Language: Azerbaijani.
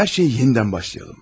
Hər şeyi yenidən başlayalım.